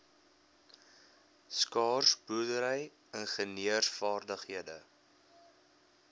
skaars boerdery ingenieursvaardighede